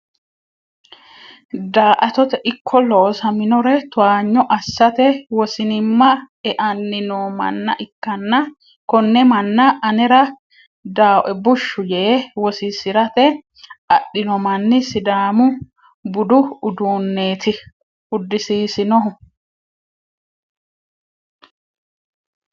Da"attote ikko loosaminore towaanyo assate wosinima eanni no manna ikkanna kone manna anera dawoe bushshu yee wosisirate adhino manni sidaamu budu uduuneti udisiisinohu.